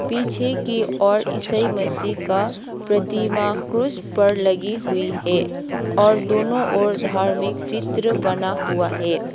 पीछे की और ईसाई मसीह का प्रतिमा क्रूस पर लगी हुई है और दोनों ओर धार्मिक चित्र बना हुआ है।